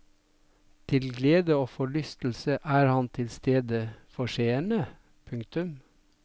Til glede og forlystelse er han til stede for seerne. punktum